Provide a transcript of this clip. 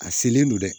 A selen don dɛ